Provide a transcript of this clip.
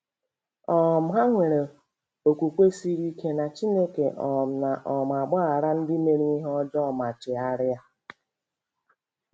um Ha nwere okwukwe siri ike na Chineke um na um - agbaghara ndị mere ihe ọjọọ ma chegharịa.